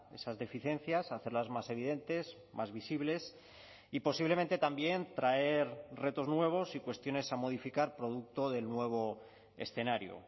esas deficiencias hacerlas más evidentes más visibles y posiblemente también traer retos nuevos y cuestiones a modificar producto del nuevo escenario